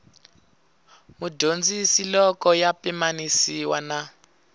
mudyondzi loko ya pimanisiwa na